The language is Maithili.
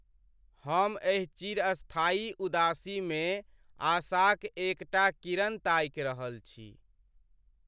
हम एहि चिरस्थायी उदासीमे आशाक एकटा किरण ताकि रहल छी।